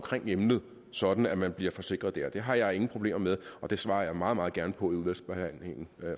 emnet sådan at man bliver forsikret der det har jeg ingen problemer med og det svarer jeg meget meget gerne på i udvalgsbehandlingen